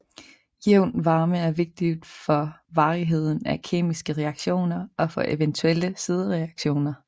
Jævn varme er vigtig for varigheden af kemiske reaktioner og for eventuelle sidereaktioner